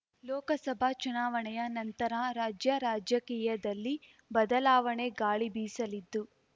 ಲೋಕಸಭಾ ಚುನಾವಣೆಯ ನಂತರ ರಾಜ್ಯ ರಾಜಕೀಯದಲ್ಲಿ ಬದಲಾವಣೆ ಗಾಳಿ ಬೀಸಲಿದ್ದು